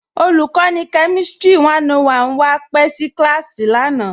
Olùkọ̀nì kẹmìstrì 101 wa pẹ̀ sí kílásì lánà.